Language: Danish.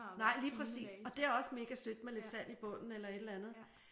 Nej lige præcis. Og det er også mega sødt med lidt sand i bunden eller et eller andet